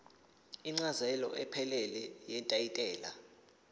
incazelo ephelele yetayitela